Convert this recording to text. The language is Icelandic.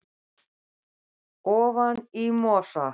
ofan í mosa